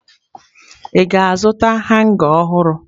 Ị ga-azụta hanga ọhụrụ?